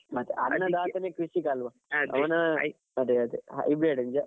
ಮತ್ತೆ ಅನ್ನದಾತನೇ ಕೃಷಿಕ ಅಲ್ವಾ ಅವ್ನ ಅದೇ ಅದೇ hybrid ನಿಜ.